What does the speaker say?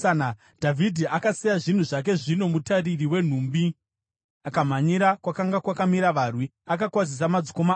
Dhavhidhi akasiya zvinhu zvake zvino mutariri wenhumbi, akamhanyira kwakanga kwakamira varwi, akakwazisa madzikoma ake.